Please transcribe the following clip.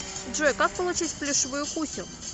джой как получить плюшевую кусю